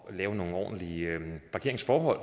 at lave nogle ordentlige parkeringsforhold